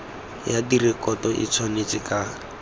ya direkoto e tshwanetse ka